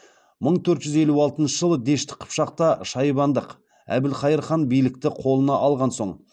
мың төрт жүз елу алтыншы жылы дешті қыпшақта шайбандық әбілхайыр хан билікті қолына алған соң